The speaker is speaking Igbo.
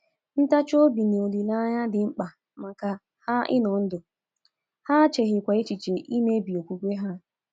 Ntachi obi na olileanya dị mkpa maka ha ịnọ ndụ, ha echeghịkwa echiche imebi okwukwe ha.